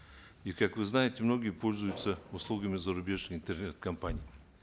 и как вы знаете многие пользуются услугами зарубежных интернет компаний